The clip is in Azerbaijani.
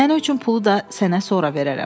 Nənə üçün pulu da sənə sonra verərəm.